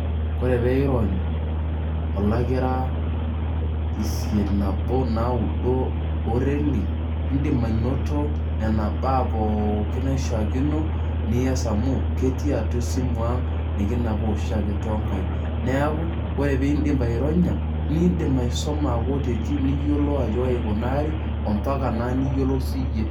Oree peyiee iirony olakira isiet, nabo, naudo oo reli in'dim anoto nena baa pooki naishaakino nias amu ketii atua esimu aang' nekinapaa oshiake too nkaik neeku ore piin'dip aironya niin'dim aisuma makutitik niyiolou ajo kaji ikunari ompaka naa niyiolou siyie.